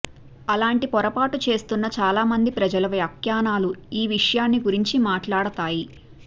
అలాంటి పొరపాటు చేస్తున్న చాలామంది ప్రజల వ్యాఖ్యానాలు ఈ విషయాన్ని గురించి మాట్లాడతాయి